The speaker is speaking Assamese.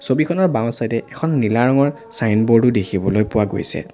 ছবিখনৰ বাওঁ চাইডে এখন নীলা ৰঙৰ চাইনব'ৰ্ডো দেখিবলৈ পোৱা গৈছে।